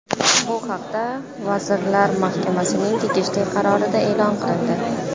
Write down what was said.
Bu haqda Vazirlar Mahkamasining tegishli qarorida e’lon qilindi .